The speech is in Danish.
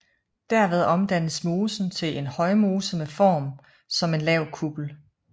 Derved omdannes mosen til en højmose med form som en lav kuppel